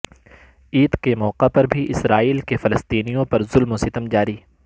عید کے موقع پر بھی اسرائیل کے فلسطینیوں پر ظلم و ستم جاری